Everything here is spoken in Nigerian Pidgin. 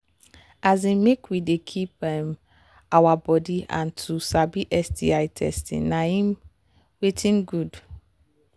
um make we they keep um our body and to sabi sti testing na um watin good